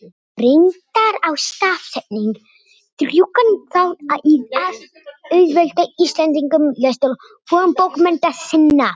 reyndar á stafsetning drjúgan þátt í að auðvelda íslendingum lestur fornbókmennta sinna